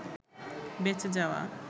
বেঁচে যাওয়া